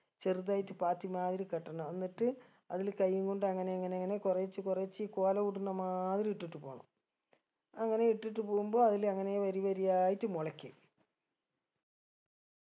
ചെറുതായിട്ട് പാത്തി മാതിരി കെട്ടണം എന്നിട്ട് അതില് കയ്യും കൊണ്ട് അങ്ങനേ അങ്ങനെ അങ്ങനെ കൊറേച്ച് കൊറേച്ച് കോല ഉടണ മാതിരി ഇട്ടിട്ട് പോണം അങ്ങനെ ഇട്ടിട്ട് പോവുമ്പോ അതില് അങ്ങനെ വരി വരിയായിറ്റ് മുളക്കും